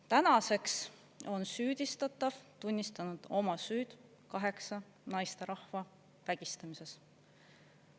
Tänaseks on süüdistatav tunnistanud oma süüd kaheksa naisterahva vägistamises.